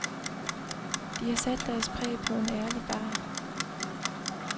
De har sat deres præg på en ærlig bar.